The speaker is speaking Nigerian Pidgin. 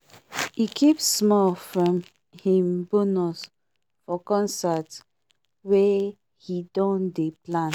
e keep small from him bonus for concert wey he don dey plan